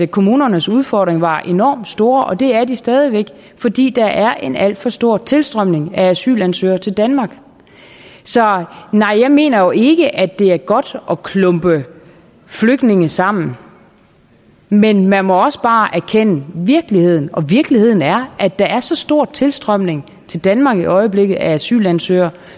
kommunernes udfordringer var enormt store og det er de stadig væk fordi der er en alt for stor tilstrømning af asylansøgere til danmark så nej jeg mener ikke at det er godt at klumpe flygtninge sammen men man må også bare erkende virkeligheden og virkeligheden er at der er så stor en tilstrømning til danmark i øjeblikket af asylansøgere